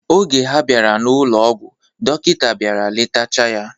Oge ha bịara n'ụlọ ọgwụ, dọkịta bịara letacha ya.